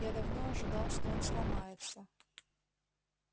я давно ожидал что он сломается